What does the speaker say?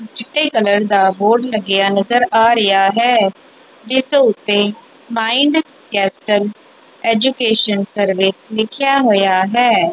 ਚਿੱਟੇ ਕਲਰ ਦਾ ਬੋਰਡ ਲੱਗਿਆ ਨਜ਼ਰ ਆ ਰਿਹਾ ਹੈ ਜਿੱਸ ਉੱਤੇ ਮਾਇੰਡ ਕੈਪਿਟਲ ਐਜੂਕੇਸ਼ਨ ਸਰਵੇ ਲਿਖੇਆ ਹੋਇਆ ਹੈ।